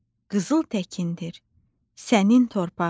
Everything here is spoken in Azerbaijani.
Qızıl təkdir sənin torpağın.